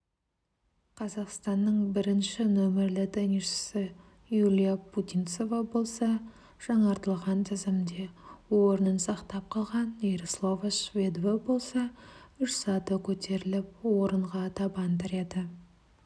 қазақстанның бірінші нөмірлі теннисшісі юлия путинцева болса жаңартылған тізімде орынын сақтап қалған ярослава шведова болса үш саты көтеріліп орынға табан тіреді